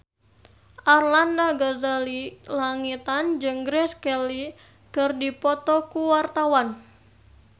Arlanda Ghazali Langitan jeung Grace Kelly keur dipoto ku wartawan